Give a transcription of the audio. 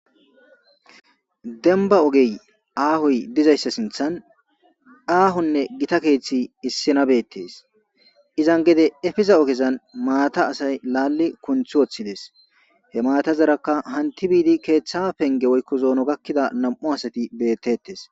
denba ogey aahoy dizayssa sinthan aahonne gita keeththi issinabettes izan gede efeza ogezan maata asay laalli kunth woththidees he maata zaraka hanti biidi keeththa penge woykko zoono gakkida nam'u asati bettettes